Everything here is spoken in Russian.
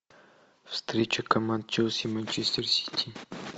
встреча команд челси и манчестер сити